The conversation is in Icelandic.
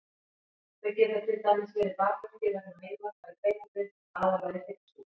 Þau geta til dæmis verið bakverkir vegna meinvarpa í beinagrind, aðallega í hryggsúlu.